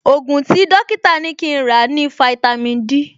Ògùn tí dọ́kítà ní kí n rà ní fáítámì Dí